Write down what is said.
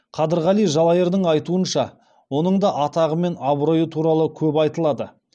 қадырғали жалайырдың айтуынша оның да атағы мен абыройы туралы көп айтылады